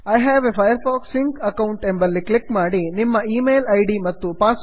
I have a Firefox sync account I have a Firefox sync account ಎಂಬಲ್ಲಿ click ಮಾಡಿ